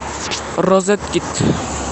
розеткед